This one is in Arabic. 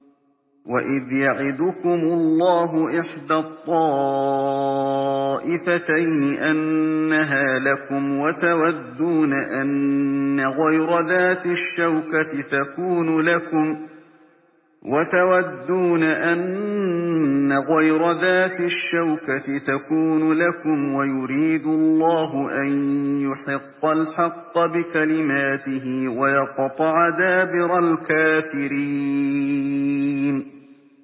وَإِذْ يَعِدُكُمُ اللَّهُ إِحْدَى الطَّائِفَتَيْنِ أَنَّهَا لَكُمْ وَتَوَدُّونَ أَنَّ غَيْرَ ذَاتِ الشَّوْكَةِ تَكُونُ لَكُمْ وَيُرِيدُ اللَّهُ أَن يُحِقَّ الْحَقَّ بِكَلِمَاتِهِ وَيَقْطَعَ دَابِرَ الْكَافِرِينَ